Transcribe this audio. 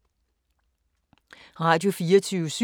Radio24syv